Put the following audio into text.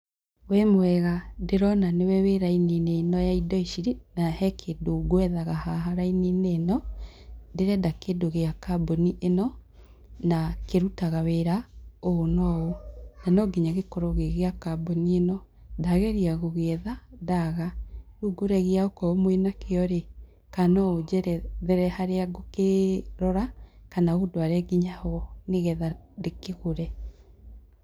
Wĩ mwega ndĩrona nĩwe wĩ raini-inĩ ĩno ya indo ici, na he kĩndũ ngwethaga haha raini-inĩ ĩno, ndĩrenda kĩndũ gĩa kambuni ĩno, na kĩrutaga wĩra ũũ na ũũ, na no nginya gĩkorwo gĩgĩa kambuni ĩno, ndageria gũgĩetha ndaaga, rĩu ngũragia o korwo mwĩna kĩo rĩ, kana no ũnjerethere harĩa ngũkĩrora kana ũndware nginya ho, nĩ getha ndĩkĩgũre.